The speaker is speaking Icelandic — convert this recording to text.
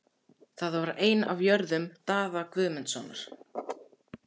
Það var ein af jörðum Daða Guðmundssonar.